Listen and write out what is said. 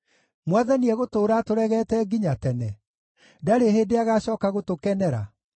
“Mwathani egũtũũra atũregete nginya tene? Ndarĩ hĩndĩ agacooka gũtũkenera?